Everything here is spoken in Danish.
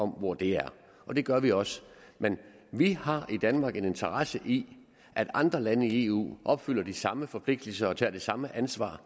hvor det er og det gør vi også men vi har i danmark en interesse i at andre lande i eu opfylder de samme forpligtelser og tager det samme ansvar